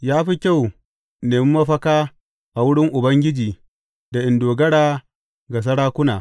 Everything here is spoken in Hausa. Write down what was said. Ya fi kyau in nemi mafaka a wurin Ubangiji da in dogara ga sarakuna.